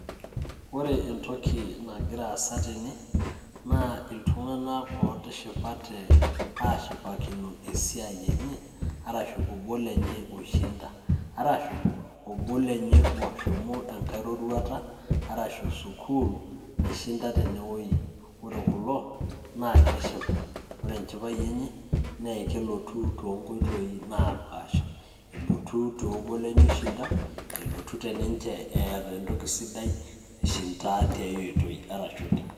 Ore entoki nigira aasa tene naa iltung'anak oo tishipate ashipakino esiai enye arashu obo lenye oishinda arashu obo lenye oshomo enkae roruata arashu school naishinda, ore kulo naa keshipa ore enhipai enye naa kelotu too nkoitoi naapaasha elotu te obo lenye oishinda, elotu teninche eeta entoki sidai naishinda tiae oitoi arshu.